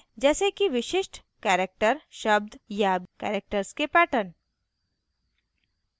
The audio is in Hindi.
जैसे कि विशिष्ट characters शब्द या characters के patterns